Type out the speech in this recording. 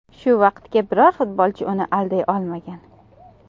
Shu vaqtga biror futbolchi uni alday olmagan.